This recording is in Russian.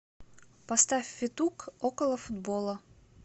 поставь федук околофутбола